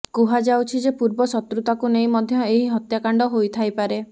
କୁହାଯାଉଛି ଯେ ପୂର୍ବଶତ୍ରୁତାକୁ ନେଇ ମଧ୍ୟ ଏହି ହତ୍ୟାକାଣ୍ଡ ହୋଇଥାଇପାରେ